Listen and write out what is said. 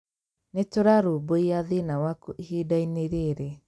Nĩ tũrarũmbũiya thina waku ihinda-inĩ rĩrĩ